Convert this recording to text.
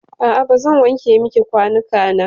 A'a bazan wanke miki kwanuka na.